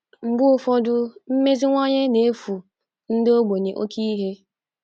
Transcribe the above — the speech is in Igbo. Mgbe ụfọdụ, mmeziwanye na-efu ndị ogbenye oké ihe.